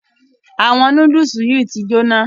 Àwọn nudulu yí tí jona.